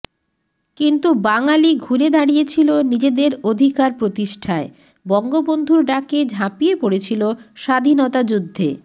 কিন্তু বাঙালি ঘুরে দাড়িয়েছিল নিজেদের অধিকার প্রতিষ্ঠায় বঙ্গবন্ধুর ডাকে ঝাপিয়ে পড়েছিল স্বাধীনতা যুদ্ধে